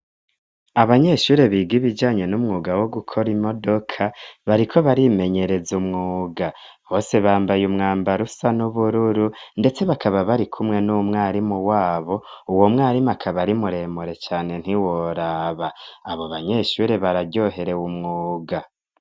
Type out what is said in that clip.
abanyeshure biga ibijanye n'umwuga wo gukora imodoka bariko barimenyereza umwuga bose bambaye umwambarusa n'ubururu ndetse bakaba barikumwe n'umwarimu wabo uwo mwarimu akaba ari muremure cane ntiworaba abo banyeshure bararyoherewe umwuga